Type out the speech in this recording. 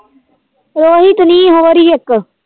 ਰੋਹੀਤ ਨੀ ਹੋਰ ਹੀ ਇੱਕ